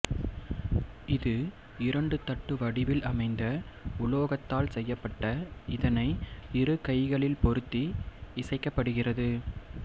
இது இரண்டு தட்டு வடிவில் அமைந்த உலோகத்தால் செய்யப்பட்ட இதனை இரு கைகளில் பொருத்தி இசைக்கப்படுகிறது